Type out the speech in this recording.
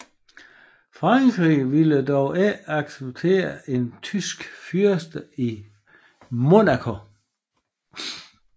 Frankrig ville dog ikke acceptere en tysk fyrste i Monaco